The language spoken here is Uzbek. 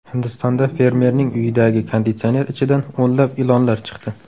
Hindistonda fermerning uyidagi konditsioner ichidan o‘nlab ilonlar chiqdi.